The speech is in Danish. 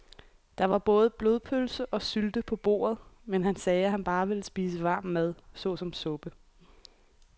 Der var både blodpølse og sylte på bordet, men han sagde, at han bare ville spise varm mad såsom suppe.